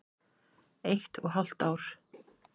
Eitt og hálft ár.